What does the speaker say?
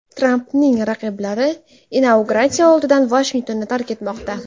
Trampning raqiblari inauguratsiya oldidan Vashingtonni tark etmoqda.